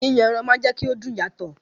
Yíyan ẹran máa ń jẹ́kí ó dùn yàtọ̀